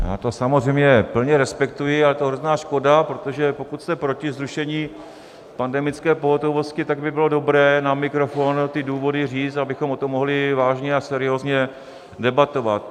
Já to samozřejmě plně respektuji, ale je to hrozná škoda, protože pokud jste proti zrušení pandemické pohotovosti, tak by bylo dobré na mikrofon ty důvody říct, abychom o tom mohli vážně a seriózně debatovat.